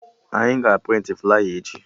Anyị ga a prịntị flaya echi